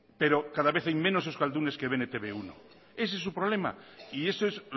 pero cada vez hay menos euskaldunes que ven e te be uno ese es su problema y eso es